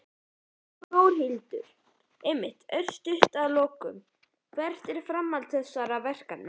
Þórhildur: Einmitt, örstutt að lokum, hvert er framhald þessa verkefnis?